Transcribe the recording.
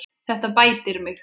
Þetta bætir mig.